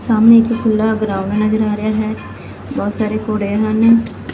ਸਾਹਮਣੇ ਇੱਕ ਖੁੱਲਾ ਗਰਾਊਂਡ ਨਜ਼ਰ ਆ ਰਿਹਾ ਹੈ। ਬਹੁਤ ਸਾਰੇ ਘੋੜੇ ਹਨ।